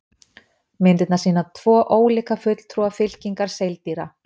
myndirnar sýna tvo ólíka fulltrúa fylkingar seildýra